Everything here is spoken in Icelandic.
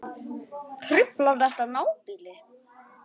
Truflar þetta nábýli?